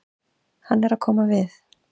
Hann er að koma við.